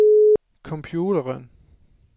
computeren